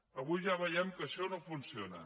avui ja veiem que això no funciona